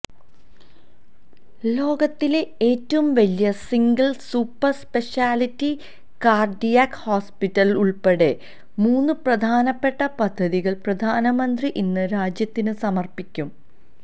ലോകത്തിലെ ഏറ്റവും വലിയ സിംഗിള് സൂപ്പര് സ്പെഷ്യാലിറ്റി കാര്ഡിയാക് ഹോസ്പിറ്റലുൾപ്പെടെ മൂന്ന് പ്രധാനപ്പെട്ട പദ്ധതികള് പ്രധാനമന്ത്രി ഇന്ന് രാജ്യത്തിന് സമര്പ്പിക്കും